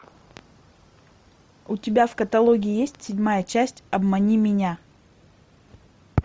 у тебя в каталоге есть седьмая часть обмани меня